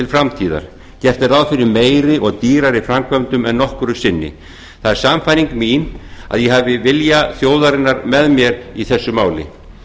framtíðar gert er ráð fyrir meiri og dýrari framkvæmdum en nokkru sinni það er sannfæring mín að ég hafi vilja þjóðarinnar með mér í þessu máli